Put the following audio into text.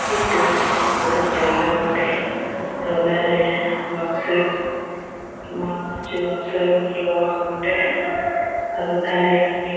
এই টো বড় জায়গা বটে । ওধারে বাঁশে বনা আছে বাঁশে এক লোহা বটে। আর ওধারে অনেক --